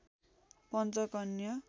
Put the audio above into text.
Panchakanya